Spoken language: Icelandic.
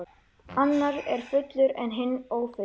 Annar er fullur en hinn ófullur.